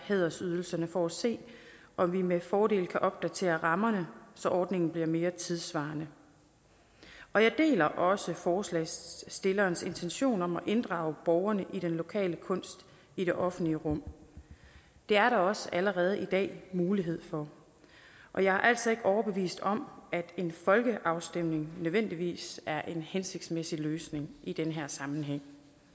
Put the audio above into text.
hædersydelserne for at se om vi med fordel kan opdatere rammerne så ordningen bliver mere tidssvarende og jeg deler også forslagsstillernes intentioner om at inddrage borgerne i den lokale kunst i det offentlige rum det er der også allerede i dag mulighed for og jeg er altså ikke overbevist om at en folkeafstemning nødvendigvis er en hensigtsmæssig løsning i den her sammenhæng